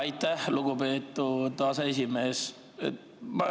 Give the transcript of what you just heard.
Aitäh, lugupeetud aseesimees!